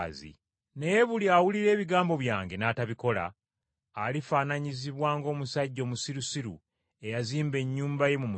Naye buli awulira ebigambo byange n’atabikola, alifaananyizibwa ng’omusajja omusirusiru eyazimba ennyumba ye mu musenyu.